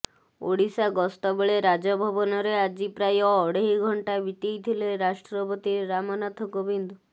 ଓଡ଼ିଶା ଗସ୍ତବେଳେ ରାଜଭବନରେ ଆଜି ପ୍ରାୟ ପ୍ରାୟ ଅଢ଼େଇ ଘଣ୍ଟା ବିତେଇଥିଲେ ରାଷ୍ଟ୍ରପତି ରାମନାଥ କୋବିନ୍ଦ